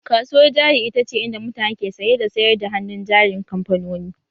Kasuwar jari ita ce inda mutane ke saye da sayar da hannun jarin kamfanoni